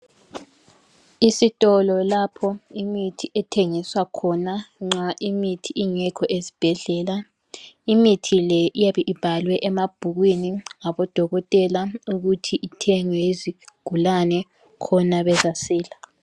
Isitolo lapho imithi ethengiswa khona nxa imithi ingekho ezibhedlela. Imithi le iyabe ibhalwe emabhukwini ngabodokotela ukuthi ithengwe yizigulane khona bezasila.